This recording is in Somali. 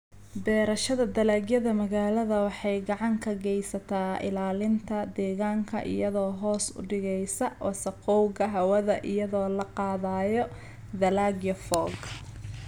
Beerashada dalagyada magaalada waxay gacan ka geysataa ilaalinta deegaanka iyadoo hoos u dhigaysa wasakhowga hawada iyadoo la qaadayo dalagyo fog.